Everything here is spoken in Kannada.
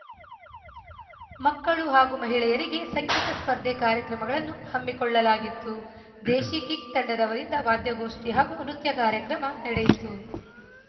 ಮಕ್ಕಳು ಹಾಗೂ ಮಹಿಳೆಯರಿಗೆ ಸಂಗೀತ ಸ್ಪರ್ಧೆ ಕಾರ್ಯಕ್ರಮಗಳನ್ನು ಹಮ್ಮಿಕೊಳ್ಳಲಾಗಿತ್ತು ದೇಶಿಕಿಕ್‌ ತಂಡದವರಿಂದ ವಾದ್ಯಗೋಷ್ಠಿ ಹಾಗೂ ನೃತ್ಯ ಕಾರ್ಯಕ್ರಮ ನಡೆಯಿತು